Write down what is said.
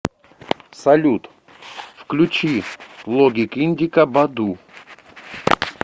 салют включи логик индика баду